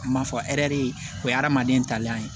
A ma fɔ hɛrɛ de ye o ye adamaden talen ye